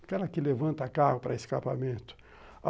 aquela que levanta a carro para escapamento.